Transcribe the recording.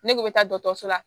Ne kun bɛ taa dɔkɔtɔrɔso la